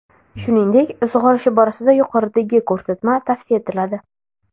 Shuningdek, sug‘orish borasida yuqoridagi ko‘rsatma tavsiya etiladi.